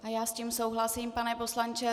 A já s tím souhlasím, pane poslanče.